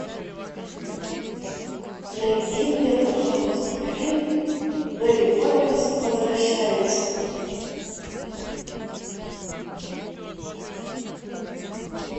найди мне пожалуйста фильм мери поппинс возвращается